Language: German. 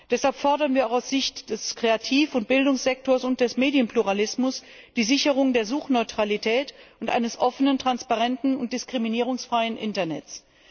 Deshalb fordern wir auch aus Sicht des Kreativ und Bildungssektors und des Medienpluralismus die Sicherung der Suchneutralität und eines offenen, transparenten und diskriminierungsfreien Internets.